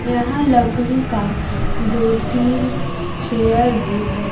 यहां लकड़ी का दो तीन चेयर भी है।